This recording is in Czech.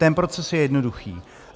Ten proces je jednoduchý.